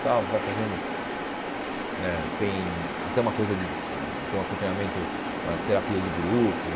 Tal você vai fazendo... eh tem até uma coisa de hum tem um acompanhamento, uma terapia de grupo.